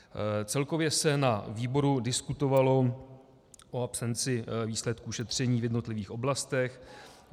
Celkově se na výboru diskutovalo o absenci výsledků šetření v jednotlivých oblastech.